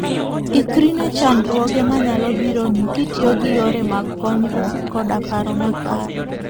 Ikri ne chandruoge manyalo bironi kitiyo gi yore mag konyruok koda paro makare.